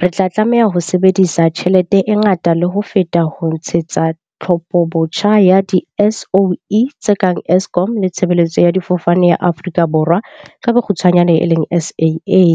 re tla tlameha ho sebedisa tjhelete e ngata le ho feta ho tshehetsa tlhophobotjha ya di-SOE tse kang Eskom le Tshebeletso ya Difofane ya Aforika Borwa ka bokgutshwanyane eleng SAA.